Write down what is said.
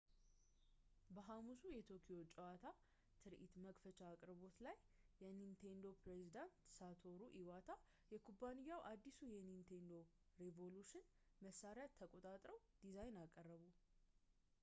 በሐሙሱ የቶኪዮ ጨዋታ ትርኢት መክፈቻ አቅርቦት ላይ የኒንቴንዶ ፕሬዝደንት ሳቶሩ ኢዋታ የኩባንያውን አዲሱን የኒንቴንዶ ሬቮሉሽን መሳሪያ ተቆጣጣሪውን ዲዛይን አቀረቡ